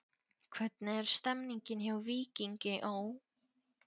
Hvernig er stemningin hjá Víkingi Ó?